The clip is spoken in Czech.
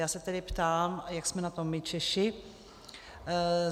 Já se tedy ptám, jak jsme na tom my Češi.